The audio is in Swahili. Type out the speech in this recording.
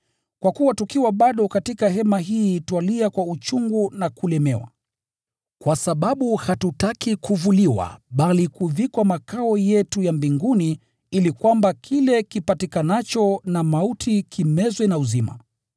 Kwa kuwa tukiwa bado katika hema hii twalia kwa uchungu na kulemewa, kwa sababu hatutaki kuvuliwa bali kuvikwa makao yetu ya mbinguni ili kwamba kile kipatikanacho na mauti kimezwe na uzima.